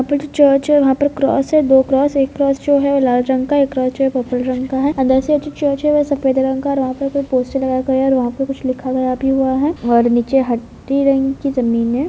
यहां पर जो चर्च है वहां पर क्रॉस है दो क्रॉस एक क्रॉस जो है वो लाल रंग का एक क्रॉस जो है पर्पल रंग का है अंदर से जो चर्च है वो सफ़ेद रंग का और वहां पर कोई पोस्टर लगा के है और वहां पर कुछ लिखा गया भी हुआ है और नीचे हड्डी रंग की जमीन हैं।